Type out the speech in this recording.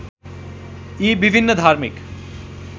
यी विभिन्न धार्मिक